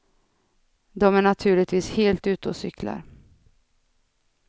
De är naturligtvis helt ute och cyklar.